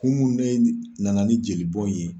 Kun mun ne na na ni jeli bɔn ye.